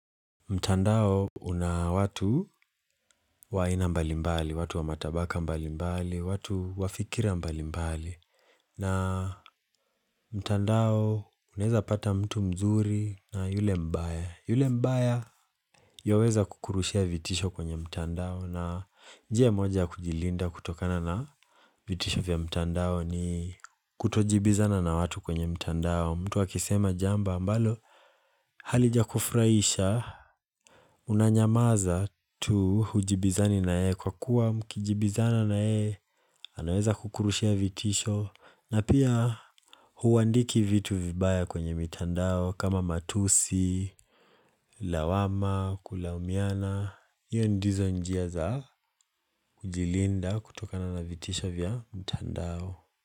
Mtandao una watu wa aina mbali mbali, watu wa matabaka mbali mbali, watu wafikira mbali mbali na mtandao unaeza pata mtu mzuri na yule mbaya yule mbaya yoweza kukurushia vitisho kwenye mtandao na jia moja ya kujilinda kutokana na vitisho vya mtandao ni kutojibizana na watu kwenye mtandao. Mtu wakisema jambo ambalo halijakufraisha unanyamaza tu hujibizani na yeye kwa kuwa mkijibizana na yeye anaweza kukurushia vitisho na pia huandiki vitu vibaya kwenye mitandao kama matusi, lawama, kulaumiana, hizo ndizo njia za kujilinda kutokana na vitisho vya mitandao.